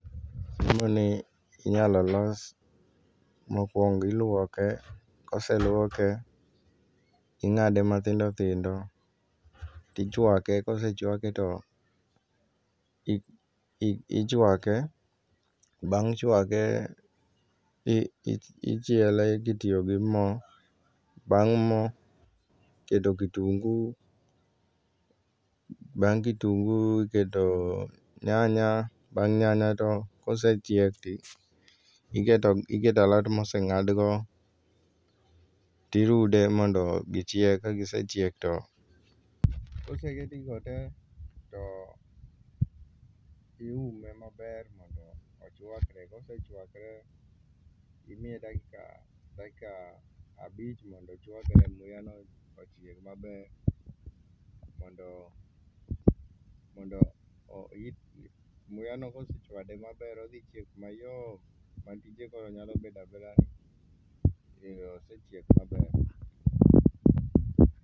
chiemo ni inyal los mokuongo iluoke kose luoke , ingade matindo tindo tichwake kosechwake to ichwake bang' chwake ichiele kitiyo gi moo, bang' moo keto kitungu, bang kitungu iketo nyanya ,bang' nyanya to kosechiek tiketo iketo alot moseng'ad go tirude mondo gichieg, kagischiek to, koseket gigo tee to iume mondo ochwakre kosechwakre to imiye dakika abich mondo ochwakre, muya no ochieg maber mondo mondo muya no kosechwade maber odhi chiek mayom ma tije koro nyalo bedo abedani ero osechiek maber